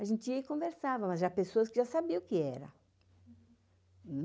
A gente ia e conversava, mas já pessoas que já sabiam o que era.